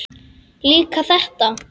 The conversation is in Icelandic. Líka þetta.